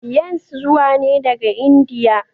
yans zuwa ne daga India.